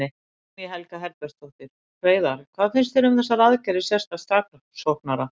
Guðný Helga Herbertsdóttir: Hreiðar, hvað finnst þér um þessar aðgerðir sérstaks saksóknara?